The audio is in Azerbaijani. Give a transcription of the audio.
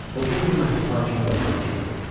O qeyri-məhdud hakimiyyətə malik idi.